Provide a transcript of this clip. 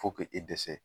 Fo k'o e dɛsɛ